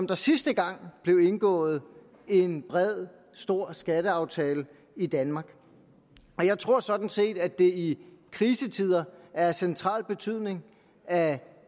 der sidste gang blev indgået en bred stor skatteaftale i danmark jeg tror sådan set at det i krisetider er af central betydning at